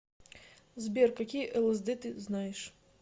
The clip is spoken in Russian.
сбер какие лсд ты знаешь